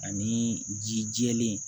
Ani ji jɛlen